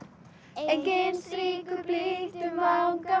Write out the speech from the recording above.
enginn strýkur blítt um vanga